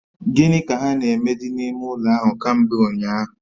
Gini ka ha na-eme di n'ime ulo ahu kambe unyahu?